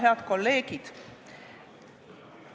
Head kolleegid!